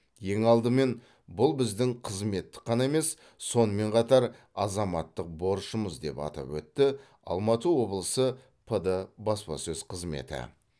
ең алдымен бұл біздің қызметтік ғана емес сонымен қатар азаматтық борышымыз деп атап өтті алматы облысы пд баспасөз қызметі